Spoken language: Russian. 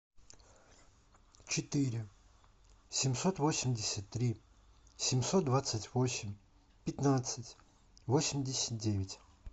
четыре семьсот восемьдесят три семьсот двадцать восемь пятнадцать восемьдесят девять